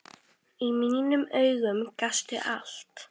Í mínum augum gastu allt.